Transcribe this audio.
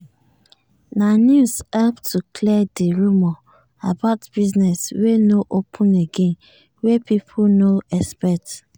na news help to clear di rumour about business wey nor open again wey pipo nor expect